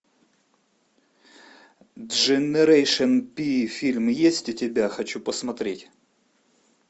дженерейшен пи фильм есть у тебя хочу посмотреть